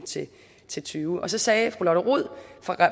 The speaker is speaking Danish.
til tyve så sagde fru lotte rod